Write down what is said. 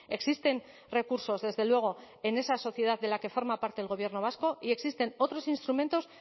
existen recursos desde luego en esa sociedad de la que forma parte del gobierno vasco y existen otros instrumentos